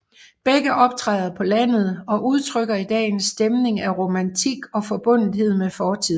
Begge optræder på landet og udtrykker i dag en stemning af romantik og forbundethed med fortiden